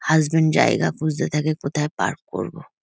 Husband জায়গা খুঁজতে থাকে কোথায় পার্ক করবো।